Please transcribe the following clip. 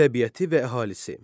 Təbiəti və əhalisi.